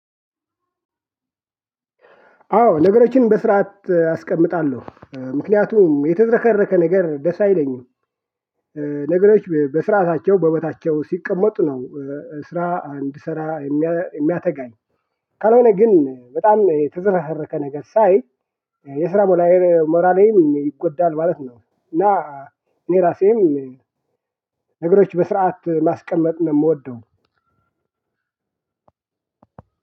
አዎ ነገሮችን በስርዓት አስቀምጣለሁ እ ምክንያቱም የተዝረከረከ ነገር ደስ አይለኝም። ነገሮች በስራዓታቸው በቦታቸው ሲቀመጡ ነው። ስራ እንድሰራ የሚያተጋኝ ካልሆነ ግን በጣም የተዝረከረከ ነገር ሳይ የስራ ሞራሌም ይጎዳል ማለት ነው። እና እኔ እራሴም ነገሮች በስርዓት ማስቀመጥ ነው ምወደው።